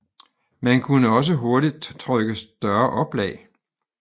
Man kunne også hurtigt trykke større oplag